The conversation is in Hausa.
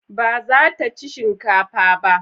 Ba za ta ci shinkafa ba?